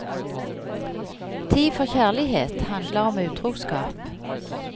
Tid for kjærlighet handler om utroskap.